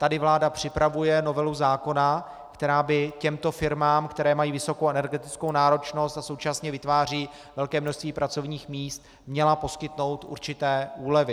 Tady vláda připravuje novelu zákona, která by těmto firmám, které mají vysokou energetickou náročnost a současně vytvářejí velké množství pracovních míst, měla poskytnout určité úlevy.